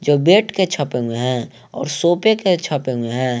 जो बेड के छपे हुए हैं और सोफे के छपे हुए हैं।